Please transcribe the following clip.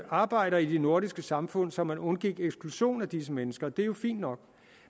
arbejdere i det nordiske samfund så man undgik eksklusion af disse mennesker og det er jo fint nok